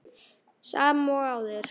Sama og áður.